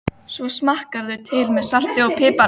Svo smakkarðu til með salti og pipar.